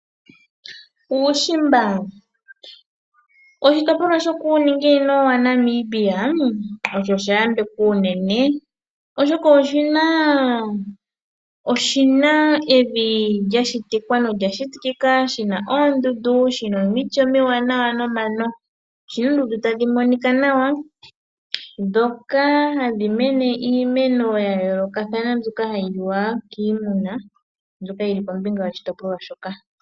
Uushimba, oshitopolwa shokuuninginino wa Namibia osho sha yambekwa unene, oshoka oshi na evi lya shitwa nolya shitikika. Shina oondundu, shina omiti omiwanawa nomano. Oshina oondundu tadhi monika nawa dhoka hadhi mene iimeno ya yoolokathana mbyoka hayi liwa kiimuna, mbyoka yili kombinga yoshitopolwa shoka.